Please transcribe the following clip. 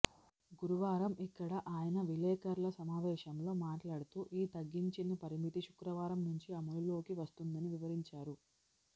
గురువారం ఇక్కడ ఆయన విలేఖరుల సమావేశంలో మాట్లాడుతూ ఈ తగ్గించిన పరిమితి శుక్రవారం నుంచి అమలులోకి వస్తుందని వివరించారు